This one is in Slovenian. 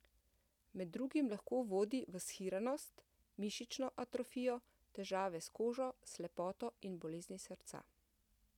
Med drugim lahko vodi v shiranost, mišično atrofijo, težave s kožo, slepoto in bolezni srca.